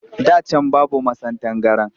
Da can babu masan tangaran